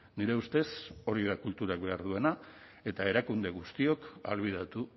nire ustez hori da kulturak behar duena eta erakunde guztiok ahalbidetu